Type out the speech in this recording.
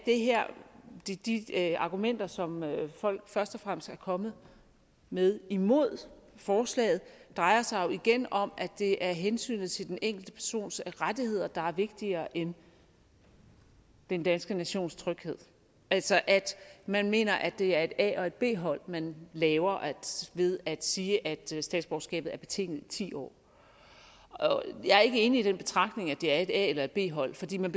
de de argumenter som folk først og fremmest er kommet med imod forslaget drejer sig jo igen om at det er hensynet til den enkelte persons rettigheder der er vigtigere end den danske nations tryghed altså at man mener at det er et a og et b hold man laver ved at sige at statsborgerskabet er betinget i ti år jeg er ikke enig i den betragtning at det er et a og et b hold fordi man